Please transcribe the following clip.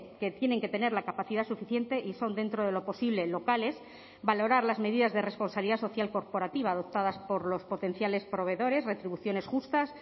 que tienen que tener la capacidad suficiente y son dentro de lo posible locales valorar las medidas de responsabilidad social corporativa adoptadas por los potenciales proveedores retribuciones justas